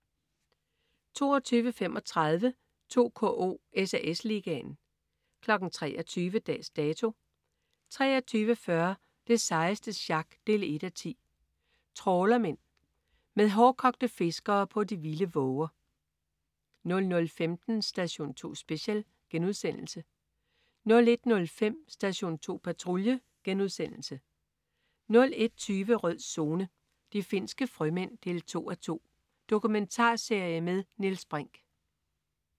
22.35 2KO: SAS Ligaen 23.00 Dags Dato 23.40 Det sejeste sjak 1:10. Trawlermen. Med hårdkogte fiskere på de vilde våger 00.15 Station 2 Special* 01.05 Station 2 Patrulje* 01.20 Rød Zone: De finske frømænd 2:2. Dokumentarserie med Niels Brinch